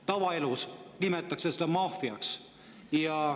Tavaelus nimetatakse seda maffiaks.